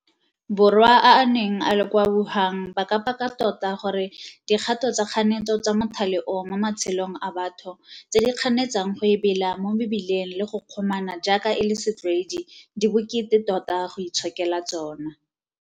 Borwa a a neng a le kwa Wuhan ba ka paka tota gore dikgato tsa kganetso tsa mothale oo mo matshelong a batho, tse di kganetsang go ebela mo mebileng le go kgomana jaaka e le setlwaedi di bokete tota go itshokela tsona.